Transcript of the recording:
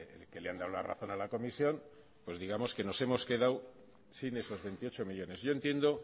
que le han dado la razón a la comisión digamos que nos hemos quedado sin esos veintiocho millónes yo entiendo